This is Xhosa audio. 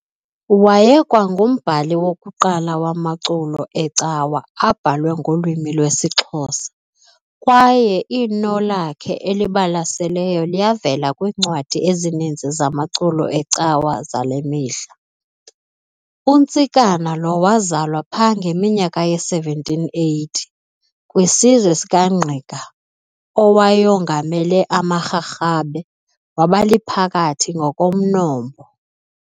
Wayekwangumbhali wokuqala wamaculo ecawa abhalwe ngolwimi lwesiXhosa, kwaye iinno lakhe elibalaseleyo liyavela kwiincwadi ezininzi zamaculo ecawa zale mihla. UNtsikana lo wazalwa pha ngeminyaka ye-1780, kwisizwe sikaNgqika owayongamele amaRharhabe, wabaliphakathi ngokomnombo.